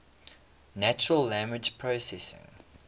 natural language processing